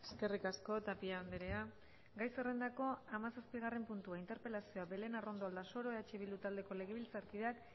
eskerrik asko tapia andrea gai zerrendako hamazazpigarren puntua interpelazioa belén arrondo aldasoro eh bildu taldeko legebiltzarkideak